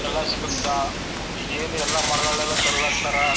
ಎಲ್ಲ ಸಿಗುತ್ತಾ ಈಗ್ ಏನು ಎಲ್ಲ ಮರಗಳೆಲ್ಲ ತರದ್ ಆಗ್ತಾರಾ.